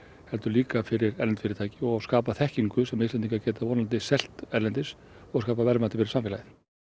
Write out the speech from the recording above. heldur líka fyrir erlend fyrirtæki og skapa þekkingu sem Íslendingar geta vonandi selt erlendis og skapað verðmæti fyrir samfélagið